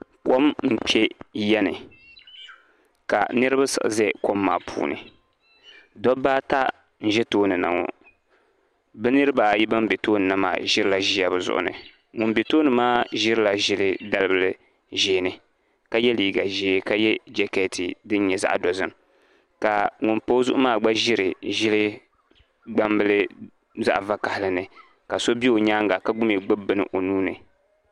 Kom n kpe yani ka niriba siɣi za kom maa puuni dobba ata n ʒɛ toon. na ŋɔ bɛ niriba ayi ban be tooni na maa ʒirila ʒiya bɛ zuɣu ni ŋun be tooni maa ʒirila ʒili dalibila ʒeeni ka ye liiga ʒee ka ye jaketi din nyɛ zaɣa dozim ka ŋun pa o zuɣu maa gba ʒiri ʒili gbambili zaɣa vakahali ni ka so be o nyaanga ka gba gbibi bini o nuuni.